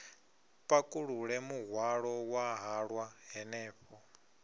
pakulule muhwalo wa halwa hanefho